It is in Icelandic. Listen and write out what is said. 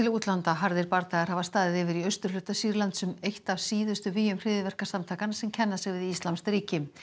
harðir bardagar hafa staðið yfir í austurhluta Sýrlands um eitt af síðustu hryðjuverkasamtakanna sem kenna sig við íslamskt ríki